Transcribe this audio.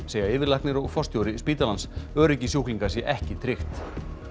segja yfirlæknir og forstjóri spítalans öryggi sjúklinga sé ekki tryggt